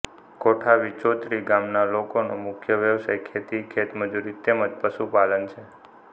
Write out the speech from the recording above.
કોઠા વિસોત્રી ગામના લોકોનો મુખ્ય વ્યવસાય ખેતી ખેતમજૂરી તેમ જ પશુપાલન છે